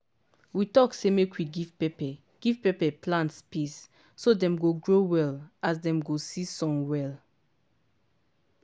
we talk say make we give pepper give pepper plant space so dem go grow well as dem go see sun well